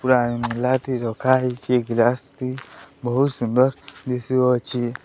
Glass ଟି ରଖାହେଇଚି ବହୁତ ସୁନ୍ଦର ଦିସୁଅଛି।